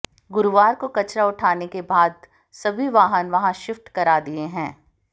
गुरूवार को कचरा उठाने के बाद सभी वाहन वहां शिफ्ट करा दिए हैं